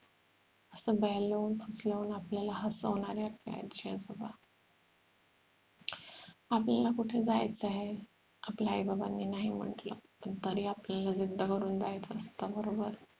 असं बेहलवून फुसलऊन आपल्याला हसवणारे आपले आजी आजोबा आपल्याला कुठं जायचं आहे आपल्या आई बाबांनी नाही म्हंटल पण तरी आपल्याला जिद्द करून जायचं असत बरोबर